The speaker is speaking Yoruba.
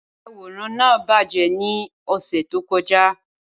Ayàwòrán náà bàjẹ́ ní ọ̀sẹ̀ tó kọjá.